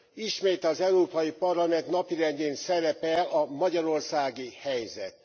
Ismét az Európai Parlament napirendjén szerepel a magyarországi helyzet.